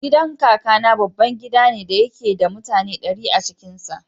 Gidan Kakana babban gida ne da yake da mutane ɗari a cikin sa.